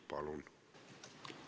Palun!